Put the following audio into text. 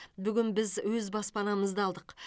бүгін біз өз баспанамызды алдық